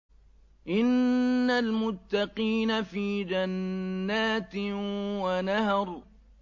إِنَّ الْمُتَّقِينَ فِي جَنَّاتٍ وَنَهَرٍ